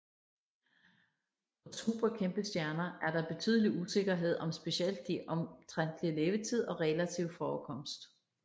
For superkæmpestjerner er der betydelig usikkerhed om specielt de omtrentlige levetid og relativ forekomst